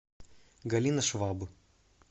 галина шваб